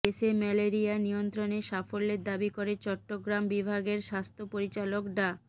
দেশে ম্যালেরিয়া নিয়ন্ত্রণে সাফল্যের দাবি করে চট্টগ্রাম বিভাগের স্ব্যাস্থ্য পরিচালক ডা